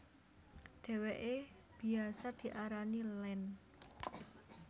Dheweke biyasa diarani Land